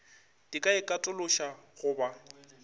di ka ikatološa go ba